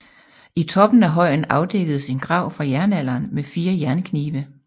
I toppen af højen afdækkedes en grav fra jernalderen med fire jernknive